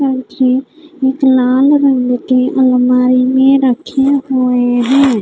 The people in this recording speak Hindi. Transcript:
एक लाल रंग के अलमारी में रखे हुए हैं।